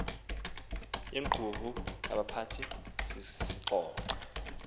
yequmrhu labaphathi sixoxa